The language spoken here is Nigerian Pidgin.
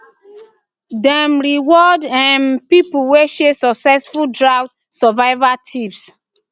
dem reward um people wey share successful drought survival tips